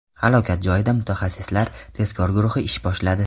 Halokat joyida mutaxassislar tezkor guruhi ish boshladi.